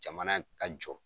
Jamana ka jɔ